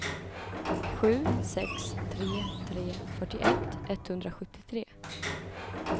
sju sex tre tre fyrtioett etthundrasjuttiotre